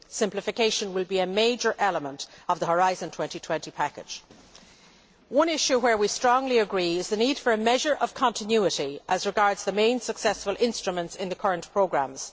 Simplification will be a major element of the Horizon 2020 package. One issue where we strongly agree is the need for a measure of continuity as regards the main successful instruments in the current programmes.